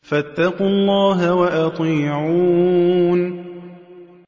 فَاتَّقُوا اللَّهَ وَأَطِيعُونِ